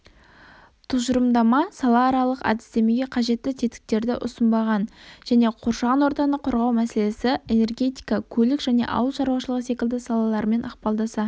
тұжырымдама салааралық әдістемеге қажетті тетіктерді ұсынбаған және қоршаған ортаны қорғау мәселесі энергетика көлік және ауыл шаруашылығы секілді салалармен ықпалдаса